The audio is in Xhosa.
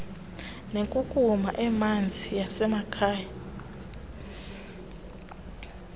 nenkunkuma emanzi yasemakhaya